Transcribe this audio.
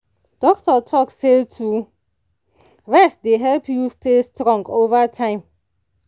doctor talk say to rest dey help you stay strong over time.